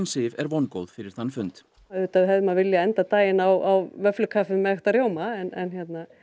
Sif er vongóð fyrir þann fund aUðvitað hefði maður viljað enda daginn á vöfflukaffi með ekta rjóma en